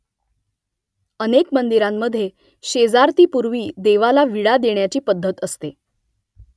अनेक मंदिरांमध्ये शेजारतीपूर्वी देवाला विडा देण्याची पद्धत असते